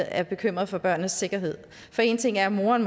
er bekymret for børnenes sikkerhed for en ting er at moderen